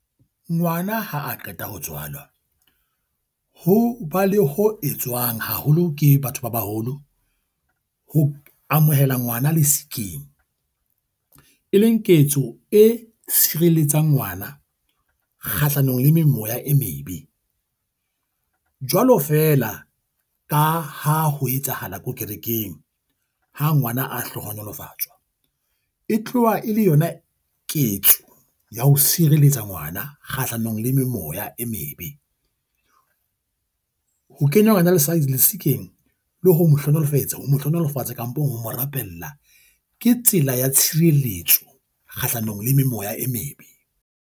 Ngwana ha a qeta ho tswalwa ho ba le ho etswang haholo ke batho ba baholo ho amohela ngwana le skiing, e leng ketso e tshireletsa ngwana kgahlanong le mane moya e mebe. Jwalo feela ka ha ho etsahala ko kerekeng. Ha ngwana a hlohonolofatsa e tloha e le yona ketso ya ho sireletsa ngwana kgahlanong le memoya e mebe. Ho kenywa ha rena le Science le sekeng le ho mo hlonolofetse ho mo hlonolofatse kampong ho mo rapella, ke tsela ya tshireletso kgahlano memoya e mebe.